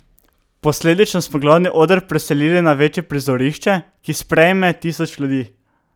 Posledično smo glavni oder preselili na večje prizorišče, ki sprejme tisoč ljudi.